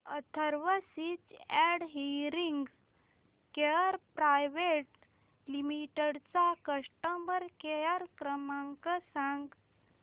Atharva speech and hearing care private limited चा customer care क्रमांक सांगा